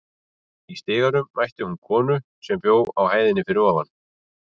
Í stiganum mætti hún konu sem bjó á hæðinni fyrir ofan.